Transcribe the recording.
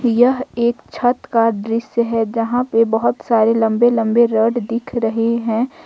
यह एक छत का दृश्य है जहां पर बहुत सारे लंबे लंबे रड दिख रहे हैं।